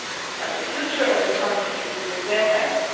But the future of the country is in their